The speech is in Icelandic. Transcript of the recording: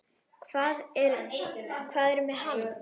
Hvað er með hann?